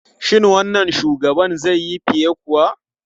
Shin wannan shugaban zai yi fiye kuwa?